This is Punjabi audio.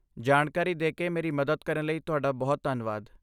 ਜਾਣਕਾਰੀ ਦੇਕੇ ਮੇਰੀ ਮਦਦ ਕਰਨ ਲਈ ਤੁਹਾਡਾ ਬਹੁਤ ਧੰਨਵਾਦ।